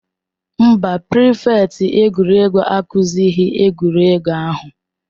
Mba, prịfèkt egwuregwu akụzighị egwuregwu ahụ.